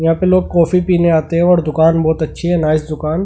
यहां पे लोग कॉफी पीने आते हैं और दुकान बहुत अच्छी है नाइस दुकान--